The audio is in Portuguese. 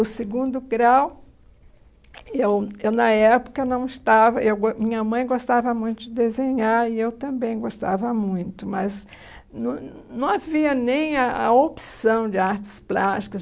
O segundo grau, eu eu na época não estava... eu gos Minha mãe gostava muito de desenhar e eu também gostava muito, mas não não havia nem a a opção de artes plásticas.